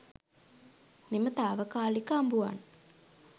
මෙම තාවකාලික අඹුවන්